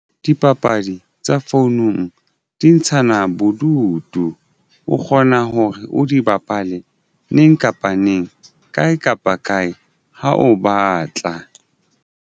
Dipapadi tsa founung di ntshana bodutu. O kgona hore o di bapale neng kapa neng kae kapa kae ha o batla.